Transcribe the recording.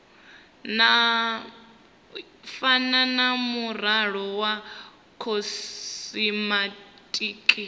fana na muaro wa khosimetiki